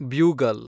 bugle